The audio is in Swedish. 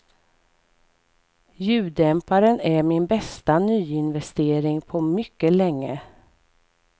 Ljuddämparen är min bästa nyinvestering på mycket länge.